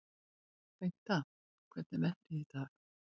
Bengta, hvernig er veðrið í dag?